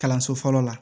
Kalanso fɔlɔ la